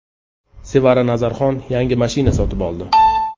Sevara Nazarxon yangi mashina sotib oldi.